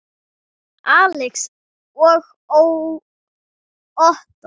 Alex og Ottó.